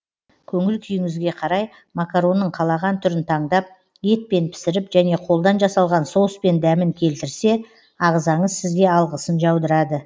көңіл күйіңізге қарай макаронның қалаған түрін таңдап етпен пісіріп және қолдан жасалған соуспен дәмін келтірсе ағзаңыз сізге алғысын жаудырады